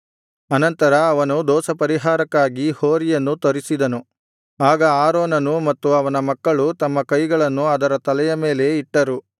ಅನಂತರ ಅವನು ದೋಷಪರಿಹಾರಕ್ಕಾಗಿ ಹೋರಿಯನ್ನು ತರಿಸಿದನು ಆಗ ಆರೋನನೂ ಮತ್ತು ಅವನ ಮಕ್ಕಳೂ ತಮ್ಮ ಕೈಗಳನ್ನು ಅದರ ತಲೆಯ ಮೇಲೆ ಇಟ್ಟರು